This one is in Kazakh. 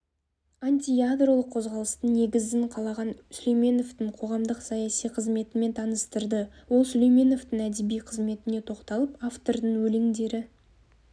антиядролық қозғалыстың негізін қалаған сүлейменовтің қоғамдық-саяси қызметімен таныстырды ол сүлейменовтің әдеби қызметіне тоқталып автордың өлеңдері